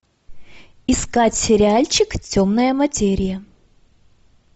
искать сериальчик темная материя